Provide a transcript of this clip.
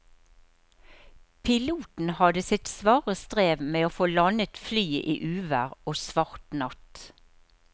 Piloten hadde sitt svare strev med å få landet flyet i uvær og svart natt.